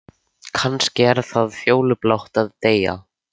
Kannski er það fjólublátt að deyja.